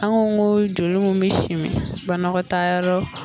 An ko ko joli mun bɛ simi banagɔtaayɔrɔ.